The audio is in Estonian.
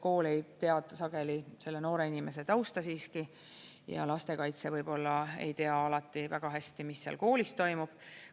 Kool ei tea sageli selle noore inimese tausta siiski ja lastekaitse võib-olla ei tea alati väga hästi, mis koolis toimub.